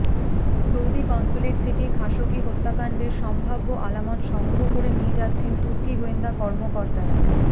Saudi consulate থেকে Khashoggi হত্যাকাণ্ডের সম্ভাব্য আলামত সংগ্রহ করে নিয়ে যাচ্ছেন তুর্কি গোয়েন্দা কর্মকর্তারা